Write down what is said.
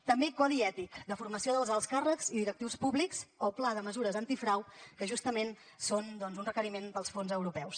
també codi ètic de formació dels alts càrrecs i directius públics o pla de mesures antifrau que justament són un requeriment per als fons europeus